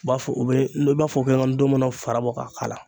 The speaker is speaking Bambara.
U b'a fɔ u bɛ i b'a fɔ ndɔmɔnɔ fara bɔ ka k'a la.